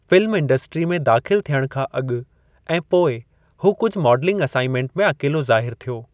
Film industry में दाख़िलु थियणु खां अॻु ऐं पोइ हू कुझु माडलिंग असाइनमनट में अकेलो ज़ाहिरु थियो।